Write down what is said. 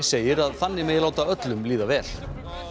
segir að þannig megi láta öllum líða vel